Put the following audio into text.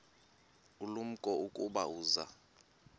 ulumko ukuba uza